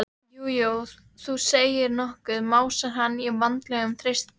Já, jú, þú segir nokkuð, másar hann á vanalegum þeytingi.